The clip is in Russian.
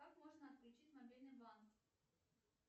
как можно отключить мобильный банк